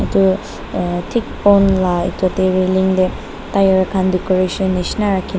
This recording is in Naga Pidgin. etu aa thik Pol la etu realing te tire khan decoration nisna rakhi na--